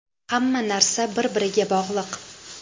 Hamma narsa bir-biriga bog‘liq.